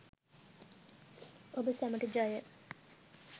ඔබ සැමට ජය